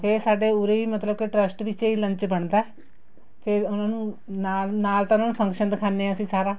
ਤੇ ਸਾਡੇ ਉਰੇ ਹੀ ਮਤਲਬ ਕੇ trust ਵਿਚੇ ਹੀ lunch ਬਣਦਾ ਫ਼ੇਰ ਉਹਨਾ ਨੂੰ ਨਾਲ ਨਾਲ ਤਾਂ ਉਹਨਾ ਨੂੰ function ਦਿਖਾਨੇ ਆ ਅਸੀਂ ਸਾਰਾ